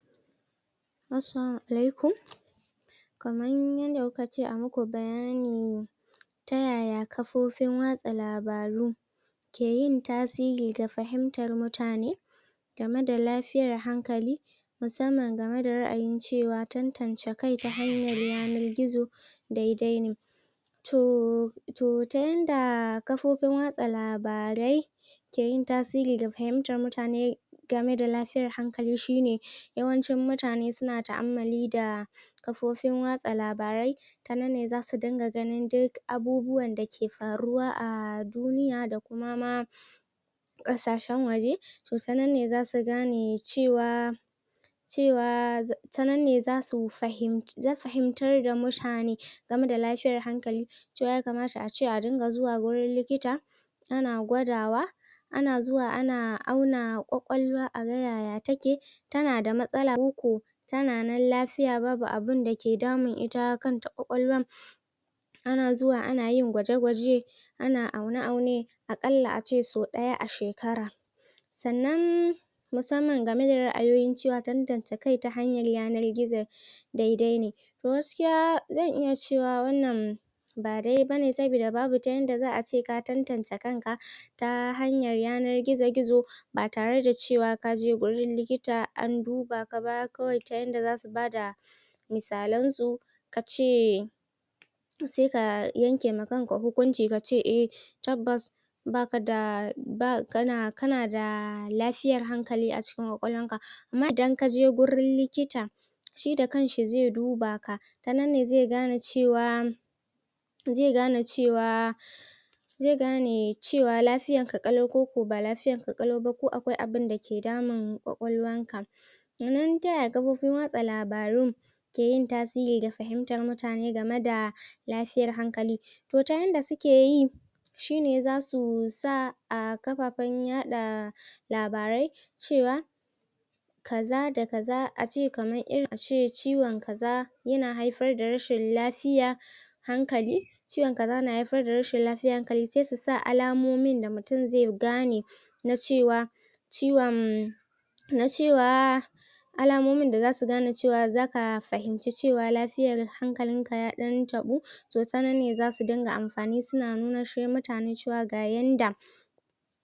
Assalamu alaikum kamar yadda kuka ce ayi muku bayani ta yaya kafofin watsa labaru ke yin tasiri da fahimtar mutane game da lafiyar hankali musamman game da ra'ayin cewa tattance kai ta hanyar yanar gizo daidai ne to to ta yadda kafofin watsa labarai ke yin tasiri ga fahimtar mutane game da lafiyar hankali shine yawancin mutane suna ta'ammali da kafofin watsa labarai ta nan ne zasu dunga ganin duk abubuwan dake faruwa a duniya da kuma ma ƙasashen waje to tanan ne zasu gane cewa cewa ta nan ne zasu fahimci zasu fahimtar da mutane game da lafiyar hankali to yamakata ace a dunga zuwa wajan likita ana gwadawa an zuwa ana auna kwakwalwa aga yaya take tana da matsala koko tana nan lafiya babu abinda ke damun ita kanta kwakwalwar ana zuwa ana yin gwaje-gwaje ana aune aune a ƙalla ace sau ɗaya a shekara sannan musammam game da ra'ayoyin cewa tantance kai ta hanyar yanar gizo daidai ne to gaskiya zan iya cewa wannan ba daidai bane sabida babu ta yadda za'ayi ace ka tantance kan ka ta hanyar yanar gizo gizo ba tare da cewa kaje wurin likita an duba ka ba kawai ta yadda zasu bada misalan su kace sai ka yankewa kanka hukunci kace e tabbas baka da um kana kana da lafiyar hankali a cikin kwakwalwar ka amma idan kaje wurin likita shi da kanshi zai duba ka ta nan ne zai gane cewa zai gane cewa zai gane cewa lafiyar ka ƙalau koko ba lafiyar ka ƙalau ba, ko akwai abunda ke damun kwakwalwar ka Sannan taya kafofin watsa labaru ke yin tasiri ga fahimtar mutane game da lafiyar hankali to ta yadda suke yi shine zasu sa a kafafan yaɗa labarai cewa kaza da kaza ace kamar irin, ace ciwon kaza yana haifar da rashin lafiya hankali ciwon kaza na haifar da rashin lafiyar hankali sai su sa alamomin da mutum zai gane na cewa ciwon na cewa alamomin da zasu gane cewa zaka fahimci cewa lafiyar hankalin ka ya ɗan taɓu to tanan ne zasu dinga amfani suna nunanshe mutane ga yadda